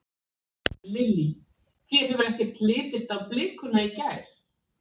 Lillý: Þér hefur ekkert litist á blikuna í gær?